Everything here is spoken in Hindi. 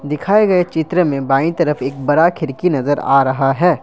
दिखाए गए चित्र में बाई तरफ एक बड़ा खिड़की नजर आ रहा है।